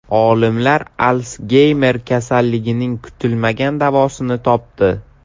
Olimlar Alsgeymer kasalligining kutilmagan davosini topdi.